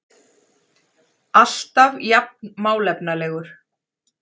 Alltaf jafn málefnalegur.